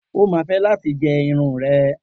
O máa fẹ́ láti gé irun rẹ̀.